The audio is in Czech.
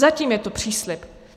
Zatím je to příslib.